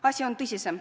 Asi on tõsisem.